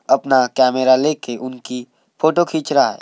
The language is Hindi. अपना कैमरा लेकर उनकी फोटो खींच रहा है।